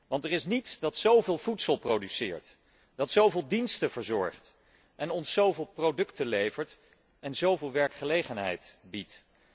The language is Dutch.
Want er is niets dat zó veel voedsel produceert, dat zó veel diensten verzorgt en ons zó veel producten levert en zó veel werkgelegenheid biedt.